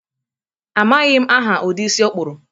Amaghị m aha ụdi isi ọ kpuru